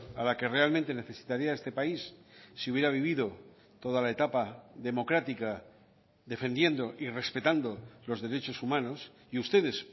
a la que realmente necesitaría este país si hubiera vivido toda la etapa democrática defendiendo y respetando los derechos humanos y ustedes